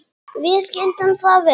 Við skildum það vel.